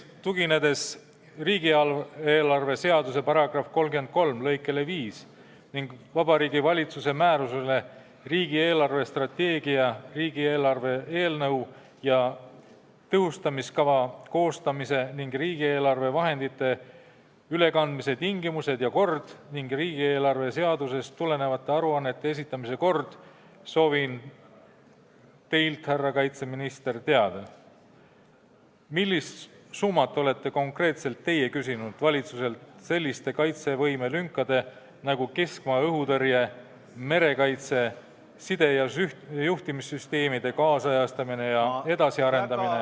Tuginedes riigieelarve seaduse § 331 lõikele 5 ning Vabariigi Valitsuse määrusele "Riigi eelarvestrateegia, riigieelarve eelnõu ja tõhustamiskava koostamise ning riigieelarve vahendite ülekandmise tingimused ja kord ning riigieelarve seadusest tulenevate aruannete esitamise kord", soovin teilt, härra kaitseminister, teada saada, millist summat olete konkreetselt teie küsinud valitsuselt selliste kaitsevõime lünkade tarbeks nagu keskmaa õhutõrje, merekaitse, side- ja juhtimissüsteemide kaasajastamine ja edasiarendamine ...